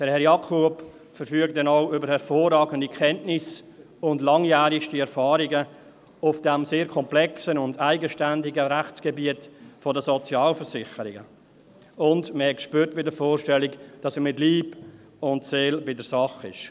Herr Jakob verfügt denn auch über hervorragende Kenntnisse und langjährigste Erfahrungen auf diesem sehr komplexen und eigenständigen Rechtsgebiet der Sozialversicherungen, und man hat bei den Vorstellungen gespürt, dass er mit Leib und Seele bei der Sache ist.